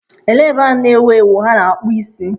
Elee ebe ahụ na-ewu ewu a na-akpụ isi?